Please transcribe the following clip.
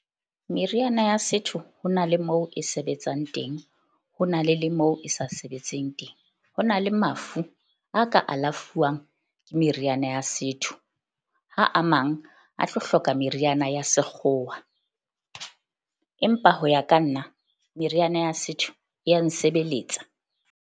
Meriana ya setho ho na le moo e sebetsang teng ho na le le moo e sa sebetseng teng. Ho na le mafu a ka alafuwa ke meriana ya setho, ha a mang a tlo hloka meriana ya sekgowa. Empa ho ya ka nna meriana ya setho e ya nsebeletsa.